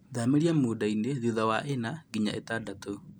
Thamĩria mũndainĩ thutha wa ĩna nginya ĩtadatũ.